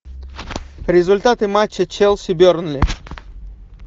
результаты матча челси бернли